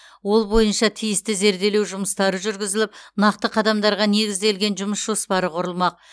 ол бойынша тиісті зерделеу жүмыстары жүргізіліп нақты қадамдарға негізделген жұмыс жоспары құрылмақ